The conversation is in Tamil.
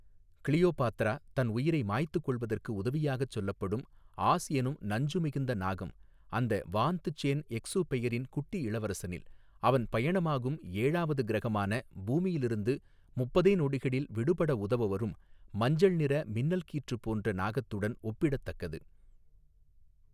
க்ளியோபாத்ரா தன் உயிரை மாய்த்துக் கொள்வதற்கு உதவியாகச் சொல்லப்படும் ஆஸ் எனும் நஞ்சு மிகுந்த நாகம் அந்த வாந்த் சேந் எக்சுபெயரின் குட்டி இளவரசனில் அவன் பயணமாகும் ஏழாவது க்ரகமான பூமியிலிருந்து முப்பதே நொடிகளில் விடுபட உதவவரும் மஞ்சள் நிற மின்னல் கீற்றுப் போன்ற நாகத்துடன் ஒப்பிடத்தக்கது.